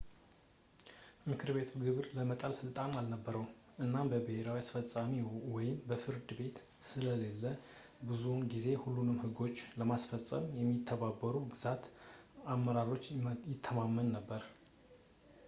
ምክር ቤቱ ግብር ለመጣል ስልጣን አልነበረውም እና ምንም ብሔራዊ አስፈፃሚ ወይም ፍርድ ቤት ስለሌለ ብዙውን ጊዜ ሁሉንም ህጎቹን ለማስፈፀም በማይተባበሩ የግዛት አመራሮች ይተማመን ነበር